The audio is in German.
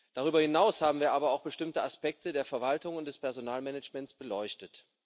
Darüber hinaus haben wir aber auch bestimmte Aspekte der Verwaltung und des Personalmanagements beleuchtet.